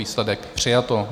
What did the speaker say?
Výsledek - přijato.